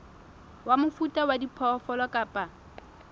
wa mofuta wa diphoofolo kapa